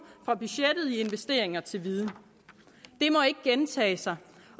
fra budgettet i investeringer til viden det må ikke gentage sig